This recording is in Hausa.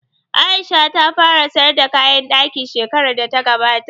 Aisha ta fara sayar da kayan ɗaki shekarar da ta gabata